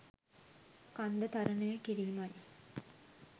කන්ද තරණය කිරීමයි.